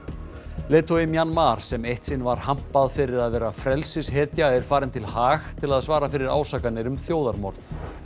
leiðtogi Mjanmar sem eitt sinn var hampað fyrir að vera frelsishetja er farin til Haag til þess að svara fyrir ásakanir um þjóðarmorð